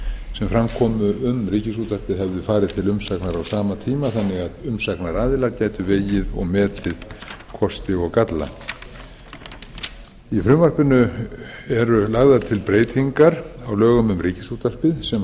sem fram komu um ríkisútvarpið hefðu farið til umsagnar á sama tíma þannig að umsagnaraðilar gætu vegið og metið kosti og galla í frumvarpinu eru lagðar til breytingar á lögum um ríkisútvarpið sem